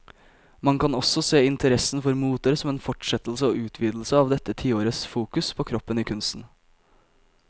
Man kan også se interessen for moter som en fortsettelse og utvidelse av dette tiårets fokus på kroppen i kunsten.